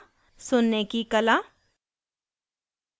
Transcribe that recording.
सुनने की कला